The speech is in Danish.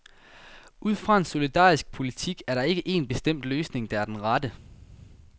Ud fra en solidarisk politik er der ikke en bestemt løsning, der er den rette.